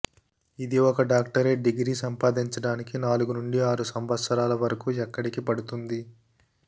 ఇది ఒక doctorate degree సంపాదించడానికి నాలుగు నుండి ఆరు సంవత్సరాల వరకు ఎక్కడికి పడుతుంది